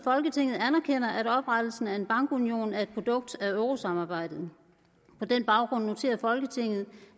folketinget anerkender at oprettelsen af en bankunion er et produkt af eurosamarbejdet på den baggrund noterer folketinget